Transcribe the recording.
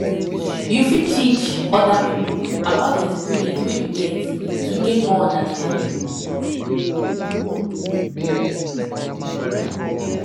you fit teach oda pipo about di experience wey you get to gain more understanding